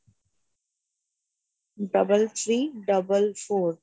double three double four